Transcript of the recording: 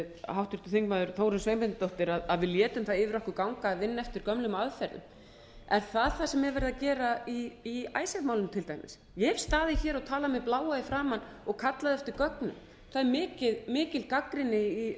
háttvirtur þingmaður þórunn sveinbjarnardóttir að við létum það yfir okkur ganga að vinna eftir gömlum aðferðum er það það sem er verið að gera í icesave málinu til dæmis ég hef staðið hér og talað mig bláa í framan og kallað eftir gögnum það er mikil gagnrýni í